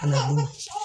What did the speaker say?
Kana bɔ